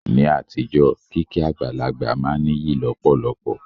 Ní àtijọ́, kíkí àgbàlagbà máa n níyì lọ̀pọ̀lọpọ̀